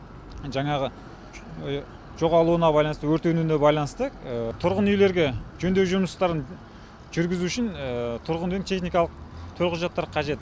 жаңағы жоғалуына байланысты өртенуіне байланысты тұрғын үйлерге жөндеу жұмыстарын жүргізу үшін тұрғын үйдің техникалық төлқұжаттары қажет